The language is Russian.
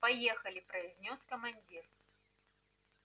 поехали произнёс командир